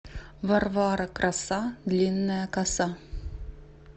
варвара краса длинная коса